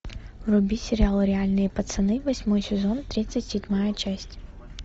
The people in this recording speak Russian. вруби сериал реальные пацаны восьмой сезон тридцать седьмая часть